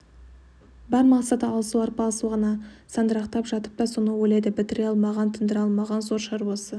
бар мақсаты алысу арпалысу ғана сандырақтап жатып та соны ойлайды бітіре алмаған тындыра алмаған зор шаруасы